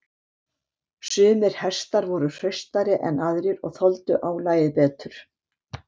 Sumir hestar voru hraustari en aðrir og þoldu álagið betur.